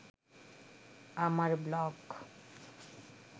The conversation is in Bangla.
আমার ব্লগ